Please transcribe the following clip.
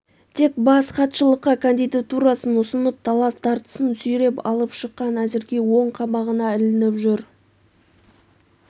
тек бас хатшылыққа кандидатурасын ұсынып талас-тартыстан сүйреп алып шыққан әзірге оң қабағына ілініп жүр